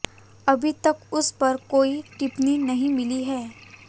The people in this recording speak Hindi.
अभी तक उस पर कोई टिप्पणी नहीं मिली है